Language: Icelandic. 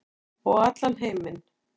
Og allan heiminn.